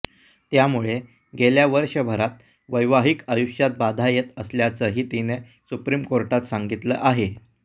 त्यामुळे गेल्या वर्षभरात वैवाहिक आयुष्यात बाधा येत असल्याचंही तिने सुप्रीम कोर्टात सांगितलं आहे